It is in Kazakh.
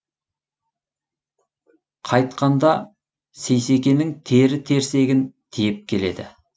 қайтқанда сейсекенің тері терсегін тиеп келеді